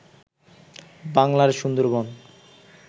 বাংলার সুন্দরবন